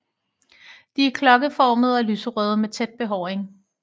De er klokkeformede og lyserøde med tæt behåring